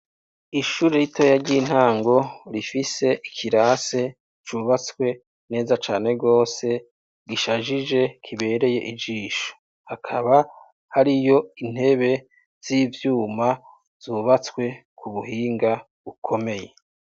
Ishure ritoya ry'intango rifise ikirase cubatswe neza cane gose, gishajije kibereye ijisho, hakaba hariyo intebe z'ivyuma zubatswe kubuhinga bukomeye.